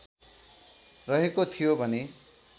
रहेको थियो भने